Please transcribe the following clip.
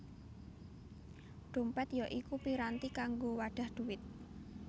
Dhompèt ya iku piranti kanggo wadhah dhuwit